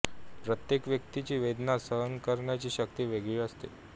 प्रत्येक व्यक्तीची वेदना सहन करण्याची शक्ती वेगळी असते